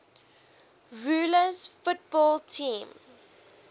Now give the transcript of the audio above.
rules football teams